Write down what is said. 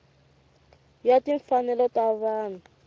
ya timfanelo ta vanhu ya